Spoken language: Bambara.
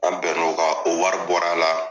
An bɛn n'o kan o wari bɔr'a la.